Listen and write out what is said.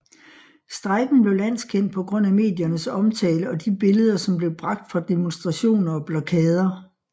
Strejken blev landskendt på grund af mediernes omtale og de billeder som blev bragt fra demonstrationer og blokader